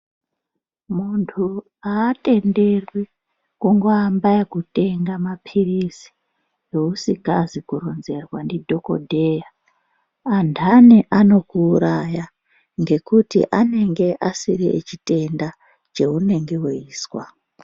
Muntuu atenderwi kungoamba ngekutenge mapilizi ausikazwi kuronzerwa ndidhokodheya anhanhi anokuuraya ngekuti anonga asiri echitenda cheiunenge weizwa.